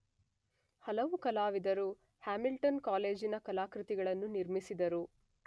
ಹಲವು ಕಲಾವಿದರು ಹ್ಯಾಮಿಲ್ಟನ್ ಕಾಲೇಜಿನ ಕಲಾಕೃತಿಗಳನ್ನು ನಿರ್ಮಿಸಿದರು.